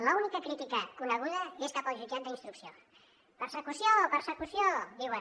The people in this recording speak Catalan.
l’única crítica coneguda és cap al jutjat d’instrucció persecució persecució diuen